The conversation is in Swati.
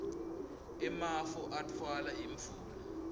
emafu atfwala imvula